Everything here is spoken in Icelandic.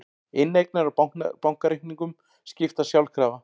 Inneignir á bankareikningum skiptast sjálfkrafa